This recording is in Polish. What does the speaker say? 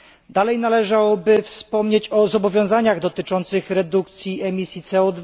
Dalej należałoby wspomnieć o zobowiązaniach dotyczących redukcji emisji CO